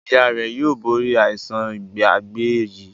ìyá rẹ yóò bori aisan Ìgbàgbé yí.